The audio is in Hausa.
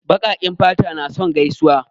Baƙaƙen fata na son gaisuwa.